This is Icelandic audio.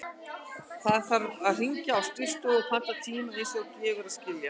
Fyrst þarf að hringja á skrifstofuna og panta tíma, eins og gefur að skilja.